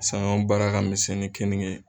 Sanyɔn baara ka misɛn ni kenike ye.